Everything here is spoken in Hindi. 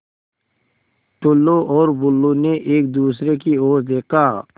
टुल्लु और बुल्लु ने एक दूसरे की ओर देखा